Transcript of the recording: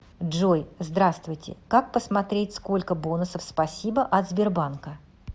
джой здравствуйте как посмотреть сколько бонусов спасибо от сбербанка